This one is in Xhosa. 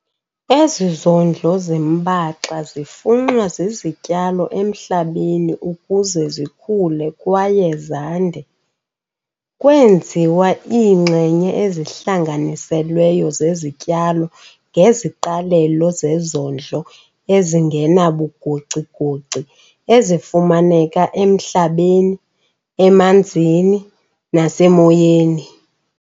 Ezi zondlo zimbaxa zifunxwa zizityalo emhlabeni ukuze zikhule kwaye zande, kwenziwa iinxenye ezihlanganiselweyo zezityalo ngeziqalelo zezondlo ezingenabugocigoci ezifumaneka emhlabeni, emanzini nasemoyeni.